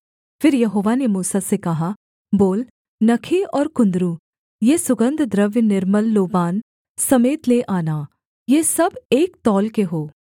फिर यहोवा ने मूसा से कहा बोल नखी और कुन्दरू ये सुगन्धद्रव्य निर्मल लोबान समेत ले लेना ये सब एक तौल के हों